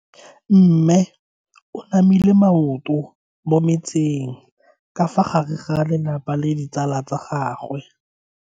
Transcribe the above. Mme o namile maoto mo mmetseng ka fa gare ga lelapa le ditsala tsa gagwe.